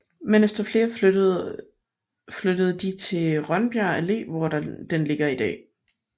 Men efter flere flyttede flyttede de til Rønbjerg Alle hvor den ligger i dag